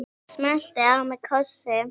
Smellti á mig kossi.